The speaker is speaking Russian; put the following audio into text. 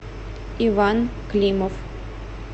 иван климов